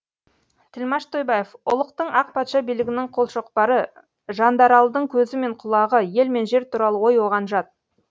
тілмаш тойбаев ұлықтың ақ патша билігінің қолшоқпары жандаралдың көзі мен құлағы ел мен жер туралы ой оған жат